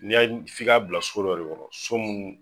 N'i y'a f'i k'a bila so dɔ de kɔnɔ so munnu